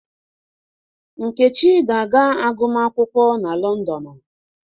Nkechi ga-aga agumakwụkwọ na Londonụ.